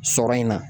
Sɔrɔ in na